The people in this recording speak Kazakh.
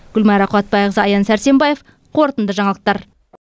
гүлмайра қуатбайқызы аян сәрсенбаев қорытынды жаңалықтар